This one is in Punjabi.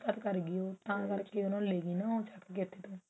ਘਾਤ ਕਰਗੀ ਉਹ ਤਾਂ ਕਰਕੇ ਉਹ ਲੇਗੀ ਨਾ ਚੱਕ ਕਿ ਇੱਥੇ ਤੋਂ